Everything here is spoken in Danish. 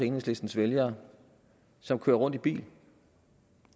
enhedslistens vælgere som kører rundt i bil